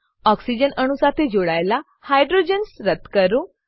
oxygen અણુઓ સાથે જોડાયેલા હાઇડ્રોજન્સ રદ્દ કરો